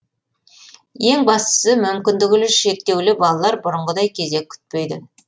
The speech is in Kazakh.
ең бастысы мүмкіндігі шектеулі балалар бұрынғыдай кезек күтпейді